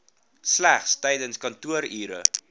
slegs tydens kantoorure